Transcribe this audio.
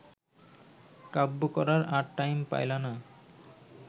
কাব্য করার আর টাইম পাইলা না